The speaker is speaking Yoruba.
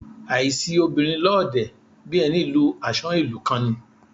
Àìsi obìnrin lọ́ọ̀dẹ̀, bí ẹni lu àsán ìlú kan ni.